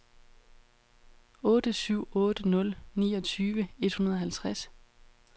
otte syv otte nul niogtyve et hundrede og halvtreds